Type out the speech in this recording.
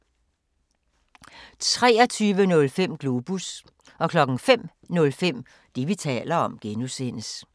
23:05: Globus 05:05: Det, vi taler om (G)